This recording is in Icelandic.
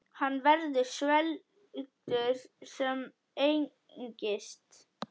Hann verður svelgur sem engist.